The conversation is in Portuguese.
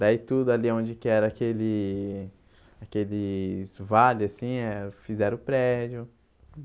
Daí tudo ali onde que era aquele aqueles vales assim eh, fizeram o prédio.